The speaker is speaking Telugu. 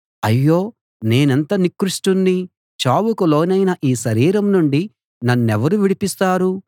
అయ్యో నేనెంత నికృష్టుణ్ణి చావుకు లోనైన ఈ శరీరం నుండి నన్నెవరు విడిపిస్తారు